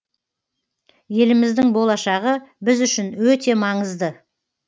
еліміздің болашағы біз үшін өте маңызды